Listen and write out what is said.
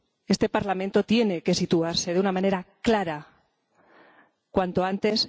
este Parlamento tiene que situarse de una manera clara cuanto antes.